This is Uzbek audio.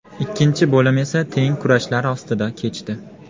Ikkinchi bo‘lim esa teng kurashlar ostida kechdi.